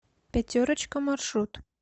пятерочка маршрут